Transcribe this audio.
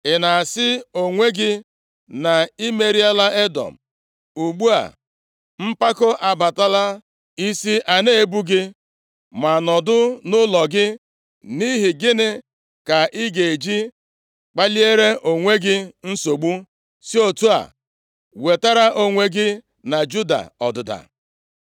Ị na-asị onwe gị, na i meriela Edọm, ugbu a, mpako abatala, isi a na-ebu gị. Ma nọdụ nʼụlọ gị. Nʼihi gịnị ka ị ga-eji kpaliere onwe gị nsogbu, si otu a wetara onwe gị na Juda ọdịda?”